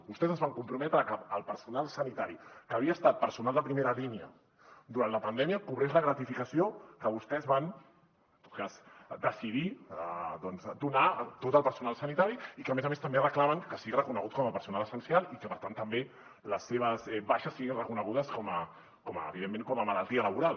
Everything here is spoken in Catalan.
vostès es van comprometre que el personal sanitari que havia estat personal de primera línia durant la pandèmia cobrés la gratificació que vostès van decidir doncs donar a tot el personal sanitari i que a més a més també reclamen que sigui reconegut com a personal essencial i que per tant també les seves baixes siguin reconegudes evidentment com a malaltia laboral